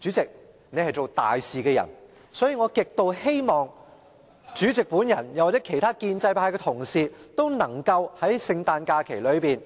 主席，你是做大事的人，所以我極希望主席及其他建制派同事皆能在聖誕假期內